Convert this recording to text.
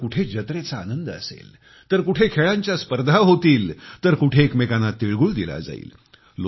तर कुठे जत्रेचा आनंद असेल तर कुठे खेळांच्या स्पर्धा होतील तर कुठे एकमेकांना तीळ गुळ दिला जाईल